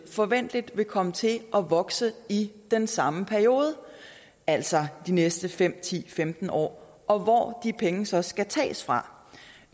forventeligt vil komme til at vokse i den samme periode altså de næste fem ti femten år og hvor de penge så skal tages fra